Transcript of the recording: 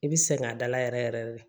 I bi sɛgɛn a dala yɛrɛ yɛrɛ de